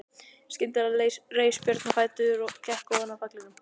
Skyndilega reis Björn á fætur og gekk ofan af pallinum.